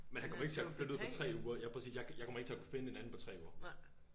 Men han kommer ikke til at flytte ud på 3 uger ja præcis jeg kommer ikke til at kunne finde en anden på 3 uger